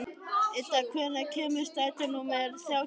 Idda, hvenær kemur strætó númer þrjátíu og fjögur?